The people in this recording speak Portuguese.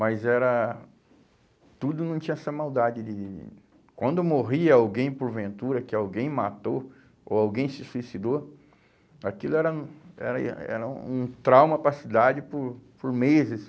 Mas era... Tudo não tinha essa maldade de... Quando morria alguém por ventura, que alguém matou ou alguém se suicidou, aquilo era um era era um trauma para a cidade por por meses.